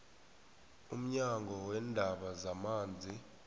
umnyango weendaba zamanzi